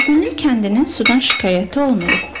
Qaragüllü kəndinin sudan şikayəti olmayıb.